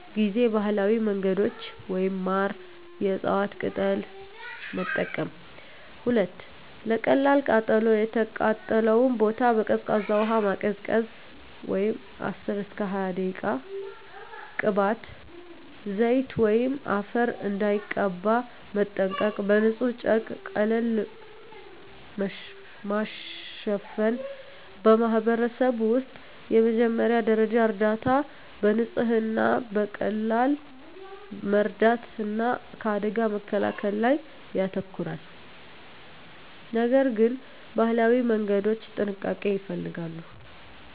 ጊዜ ባህላዊ መንገዶች (ማር፣ የእፅዋት ቅጠል) መጠቀም 2. ለቀላል ቃጠሎ የተቃጠለውን ቦታ በቀዝቃዛ ውሃ ማቀዝቀዝ (10–20 ደቂቃ) ቅባት፣ ዘይት ወይም አፈር እንዳይቀባ መጠንቀቅ በንጹሕ ጨርቅ ቀለል ማሸፈን በማኅበረሰብ ውስጥ የመጀመሪያ ደረጃ እርዳታ በንጽህና፣ በቀላል መርዳት እና ከአደጋ መከላከል ላይ ያተኮራል፤ ነገር ግን የባህላዊ መንገዶች ጥንቃቄ ይፈልጋሉ።